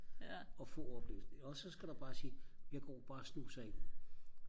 og få oplevelsen og så skal du bare sige jeg går bare og snuser ind